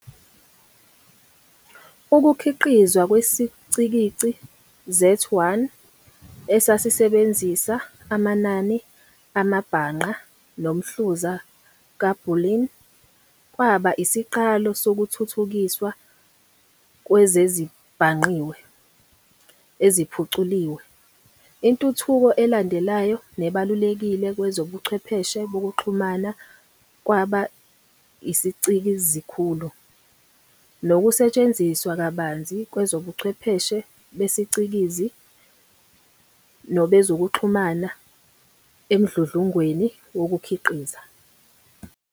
Ukukhiqizwa kwesicikizi Z1, esasisebenzisa amanani amabhangqa nomhluza ka-Boolean, kwaba isiqalo sokuthuthukiswa kwezezibhangqiwe eziphuculiwe. Intuthuko elandelayo nebalulekile kwezobuchwepheshe bokuxhumana kwaba isiCikizikhulu, nokusetshenziswa kabanzi kwezobuchwepheshe besicikizi nobezokuxhumana emdludlungweni wokuKhiqiza.